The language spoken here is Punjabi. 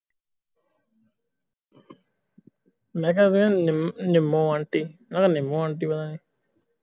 ਮੈਂ ਕਿਹਾ ਵੇਖ ਨਿੰਮੋ ਆਂਟੀ ਕਿਹਾ ਨਿੰਮੋ ਆਂਟੀ ਬਣਾ ਦਿਆ ਕਿਹਾ ਨਿੰਮੋ ਮਾਸੀ ਮੈਂ ਕਿਹਾ ਨਿੰਮੋ ਮਾਸੀ